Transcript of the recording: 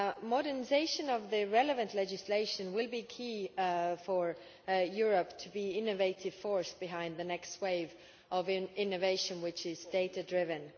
Modernisation of the relevant legislation will be key for Europe to be an innovative force behind the next wave of innovation which is data driven.